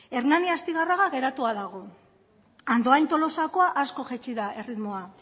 hernani astigarraga geratua dago andoain tolosakoa asko jaitsi da erritmoa